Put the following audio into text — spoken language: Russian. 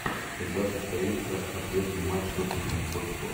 когда состоится ответный матч тоттенхэм хотспур